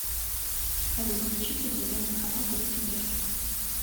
салют включи телевизионный канал детский мир